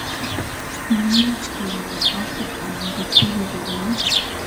Mich konyoo akwoo anan kotebii kokoit.